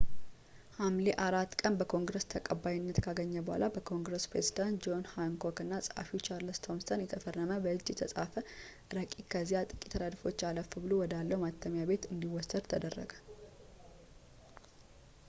ሐምሌ 4 ቀን በኮንግረስ ተቀባይነት ካገኘ በኋላ በኮንግረስ ፕሬዝዳንት ጆን ሃንኮክ እና ጸሐፊው ቻርለስ ቶምሰን የተፈረመ በእጅ የተፃፈ ረቂቅ ከዚያ ጥቂት ረድፎች አለፍ ብሎ ወዳለው ማተሚያ ቤት እንዲወሰድ ተደረገ